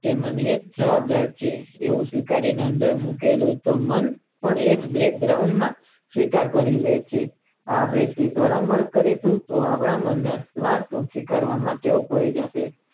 તેમના નિયત જવાબદાર છે આવું સ્વીકારી ને અંદર મૂકેલું મન પણ એ જ બારણાં સ્વીકાર કરી લે છે આ પાર થી પ્રમવનક કરી ને સ્વીકારવા માટે ટેવ પડી જશે.